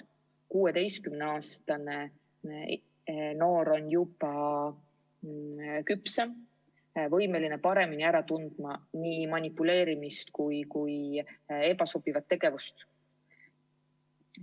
16-aastane noor on juba küpsem, võimeline paremini ära tundma nii manipuleerimist kui ebasobivat tegevust.